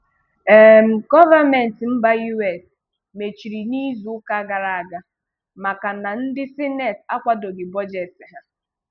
um Gọọmenti mba US mechiri n'izu uka gara aga maka na ndị sineti akwadoghi bọjetị ha